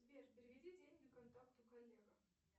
сбер переведи деньги контакту коллега